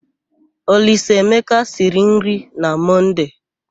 Olisaemeka siri nri na Mọnde.